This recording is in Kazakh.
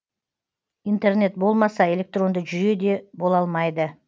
интернет болмаса электронды жүйе де бола алмайды